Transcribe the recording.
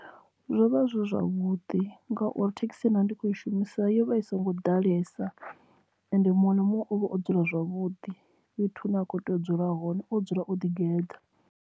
Zwo vha zwi zwavhuḓi ngauri thekhisi ye nda ndi kho i shumisa yo vha i songo ḓalesa ende muṅwe na muṅwe ovha o dzula zwavhuḓi fhethu hune a kho tea u dzula hone o dzula o ḓi geḓa.